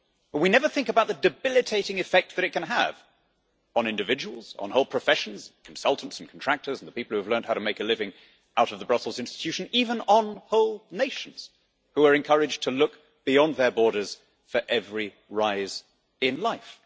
We never think about the debilitating effect it can have on individuals, on whole professions, consultants and contractors, and the people who have learned how to make a living out of the Brussels institution, even on whole nations who are encouraged to look beyond their borders for every rise in life.